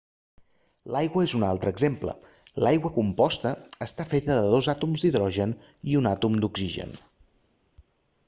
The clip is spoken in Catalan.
l'aigua és un altre exemple l'aigua composta està feta de dos àtoms d'hidrogen i un àtom d'oxigen